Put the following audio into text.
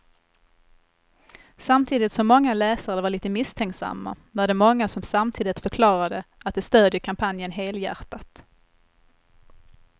Samtidigt som många läsare var lite misstänksamma var det många som samtidigt förklarade att de stödjer kampanjen helhjärtat.